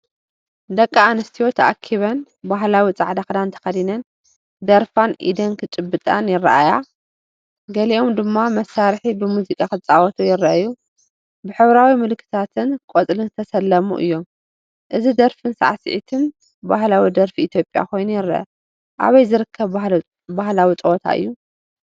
ደቂ ኣንስትዮ ተኣኪበን ባህላዊ ጻዕዳ ክዳን ተኸዲነን ክደርፍን ኢዶም ክጭብጡን ይረኣዩ ፡፡ ገሊኦም ድማ መሳርሒ ብሙዚቃ ክጻወቱ ይረኣዩ። ብሕብራዊ ምልክታትን ቆጽልን ዝተሰለሙ እዮም። እዚ ደርፍን ሳዕስዒትን ባህላዊ ደርፊ ኢትዮጵያ ኮይኑ ይረአ። ኣበይ ዝርከብ ባህላዊ ፀዋታ እዩ?